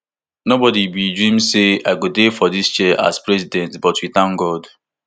no body bin dream say i go dey for dis chair as president but we thank god